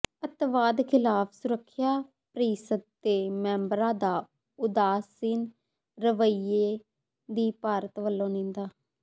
ਅਤਿਵਾਦ ਖ਼ਿਲਾਫ਼ ਸੁਰੱਖਿਆ ਪ੍ਰੀਸ਼ਦ ਦੇ ਮੈਂਬਰਾਂ ਦੇ ਉਦਾਸੀਨ ਰਵੱਈਏ ਦੀ ਭਾਰਤ ਵੱਲੋੋਂ ਨਿੰਦਾ